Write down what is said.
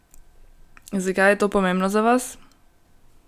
Zakaj je to pomembno za vas?